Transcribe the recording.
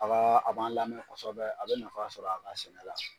A ba a b'an lamɛn kosɛbɛ a bɛ nafa sɔrɔ a ka sɛnɛ la.